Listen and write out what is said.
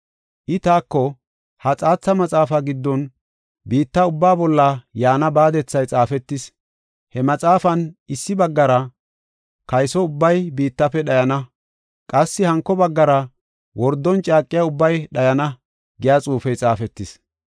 I taako, “Ha xaatha maxaafaa giddon biitta ubbaa bolla yaana baadethay xaafetis. He maxaafan issi baggara, ‘Kayso ubbay biittafe dhayana’; qassi hanko baggara, ‘Wordon caaqiya ubbay dhayana’ giya xuufey xaafetis.